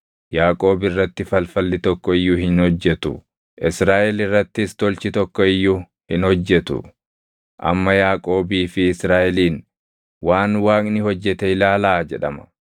Yaaqoob irratti falfalli tokko iyyuu hin hojjetu; Israaʼel irrattis tolchi tokko iyyuu hin hojjetu. Amma Yaaqoobii fi Israaʼeliin, ‘Waan Waaqni hojjete ilaalaa!’ jedhama.